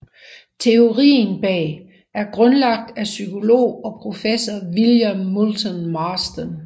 Teorien bag er grundlagt af psykolog og professor William Moulton Marston